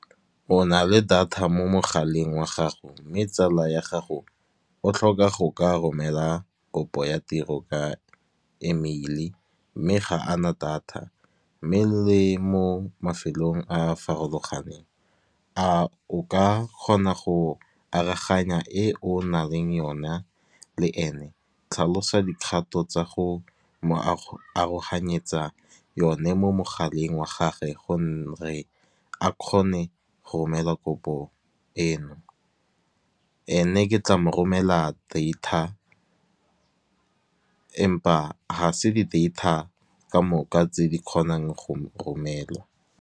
O nale Data mo mogaleng wa gago mme tsala ya gago o tlhoka go ka romela kopo ya tiro ka emeili mme ga ana data, mme le mo mafelong a a farologaneng. A o ka kgona go araganya e o na leng yona le ene. Tlhalosa dikgato tsa go mo aroganyetsa yone mo mogaleng wa gage gore a kgone go romela kopo eno. Ene ke tla moromela data empa ga se di data kamoka tse di kgonang go mo romela.